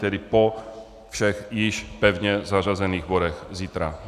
Tedy po všech již pevně zařazených bodech zítra.